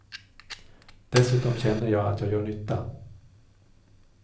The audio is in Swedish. Dessutom känner jag att jag gör nytta.